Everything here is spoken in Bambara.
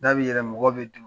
Da bɛ yɛlɛn mɔgɔw bɛ don